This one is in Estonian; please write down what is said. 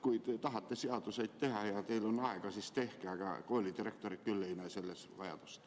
Kui te tahate seadusi teha ja teil on aega, siis tehke, aga koolidirektorid küll ei näe selleks vajadust.